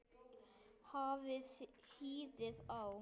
Hafið hýðið á.